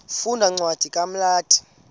funda cwadi kumagalati